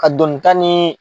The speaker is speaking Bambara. Ka donni ta ni